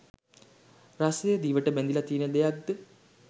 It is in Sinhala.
රසය දිවට බැඳිල තියෙන දෙයක්ද?